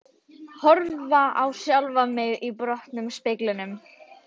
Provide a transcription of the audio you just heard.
Horfa á sjálfan mig í brotnum speglinum.